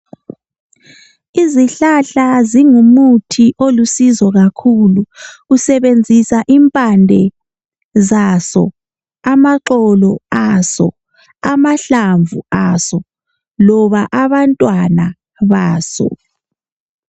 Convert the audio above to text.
Izihlahla zingumuthi olusizo kakhulu. Usebenzisa impande, amaxolo, amahlamvu, loba abantwana baso.